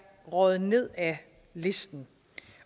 røget ned ad listen